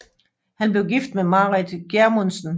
Han blev gift med Marit Gjermundsen